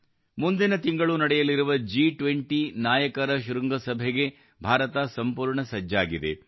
ಮುಂದಿನ ತಿಂಗಳು ನಡೆಯಲಿರುವ ಜಿ20 ನಾಯಕರ ಶೃಂಗಸಭೆಗೆ ಭಾರತ ಸಂಪೂರ್ಣ ಸಜ್ಜಾಗಿದೆ